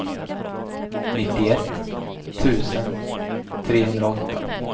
nittioett tusen trehundraåtta